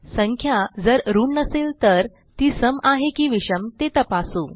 संख्या जर ऋण नसेल तर ती सम आहे की विषम ते तपासू